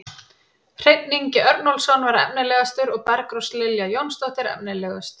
Hreinn Ingi Örnólfsson var efnilegastur og Bergrós Lilja Jónsdóttir efnilegust.